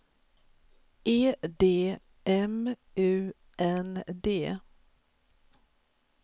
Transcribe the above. E D M U N D